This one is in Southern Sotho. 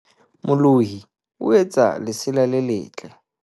molohi o etsa lesela le letle